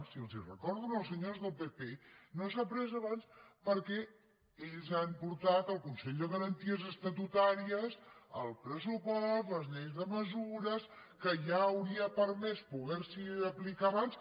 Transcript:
i els ho recordo als senyors del pp que no s’ha pres abans perquè ells han portat al consell de garanties estatutàries el pressupost les lleis de mesures que ja hauria permès poder s’hi aplicar abans